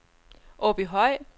Åbyhøj